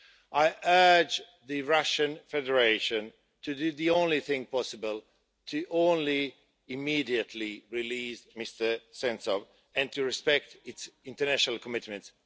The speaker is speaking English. I urge the Russian Federation to do the only thing possible to immediately release Mr Sentsov and to respect its international commitments.